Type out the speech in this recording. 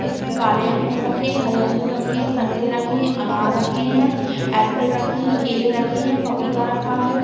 इसमें काले अंगूर रखे हैं हरे अंगूर रखे हैं संतरे रखे हैं अनार रखे हैं एप्पल रखे हैं केले रखे हैं पपीता रखा है।